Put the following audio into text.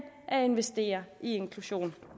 at investere i inklusion